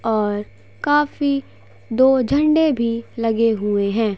और काफी दो झंडे भी लगे हुए हैं।